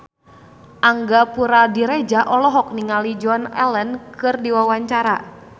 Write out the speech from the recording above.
Angga Puradiredja olohok ningali Joan Allen keur diwawancara